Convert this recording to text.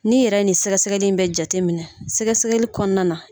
Ni yɛrɛ nin sɛgɛsɛgɛli bɛ jateminɛ, sɛgɛsɛgɛli kɔnɔna na.